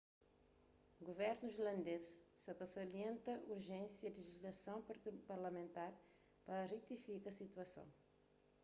guvernu irlandês sa ta salienta urjénsia di lejislason parlamentar pa retifika situason